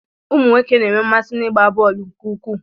Ụmụnwoke na-enwe mmasị n'ịgba bọọlụ nke ukwuu.